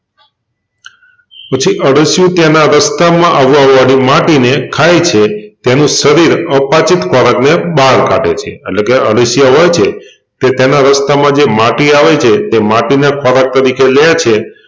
પછી અળસિયું તેના રસ્તામાં આવવાવાળી માટીને ખાય છે તેનું શરીર અપાચિત ખોરાકને બહાર કાઢે છે એટલેકે અળસિયા હોય છે તે તેના રસ્તામાં જે માટી આવે છે તે માટીને ખોરાક તરીકે લે છે